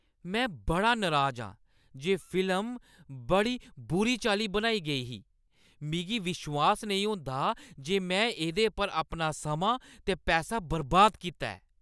में बड़ा नराज आं जे फिल्म बड़ी बुरी चाल्ली बनाई गेई ही। मिगी विश्वास नेईं होंदा जे में एह्दे पर अपना समां ते पैसा बर्बाद कीता ऐ।